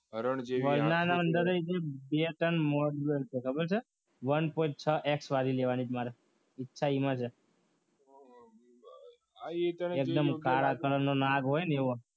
હરણ જેવી બે ત્રણ ખબર છે મારે એ ઈચ્છા એમાં છે એકદમ કાળા કલરનું ના હોય ને એવો